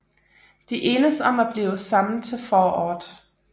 De enes om at blive sammen til foråret